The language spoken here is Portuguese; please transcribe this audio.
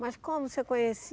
Mas como o senhor